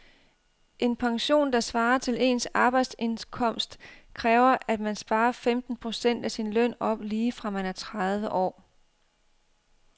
En pension, der svarer til ens arbejdsindkomst, kræver at man sparer femten procent af sin løn op lige fra man er tredive år.